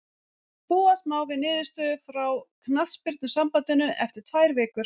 Búast má við niðurstöðu frá knattspyrnusambandinu eftir tvær vikur.